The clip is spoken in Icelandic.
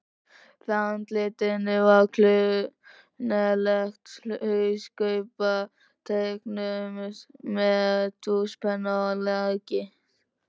Fyrir andlitinu var klunnaleg hauskúpa, teiknuð með tússpenna á lakið.